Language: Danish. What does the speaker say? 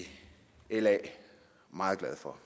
la meget glade for